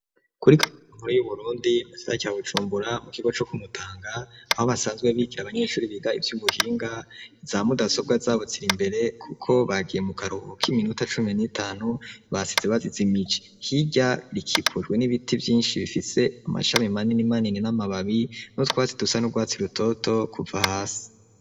Kuri ya nkuru y'uburundi mugisara ca bujumbura mu kigo co ku mutanga aho basanzwe bigira abanyeshure biga ivy'ubuhinga iza mudasobwa zabo z'irimbere kuko bagiye mu karuhuko k'iminota cumi n'itanu basize bazijimije hirya rikikujwe n'ibiti vyinshi bifise amashami manini manini n'amababi n'utwatsi dusa n'urwatsi rutoto kuva hasi.